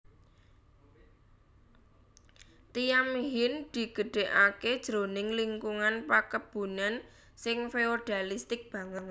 Thiam Hien digedhèkaké jroning lingkungan pakebunan sing feodalistik banget